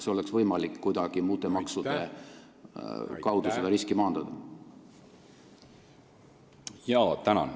Kas oleks võimalik seda riski kuidagi uute maksudega maandada?